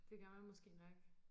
Det gør man måske nok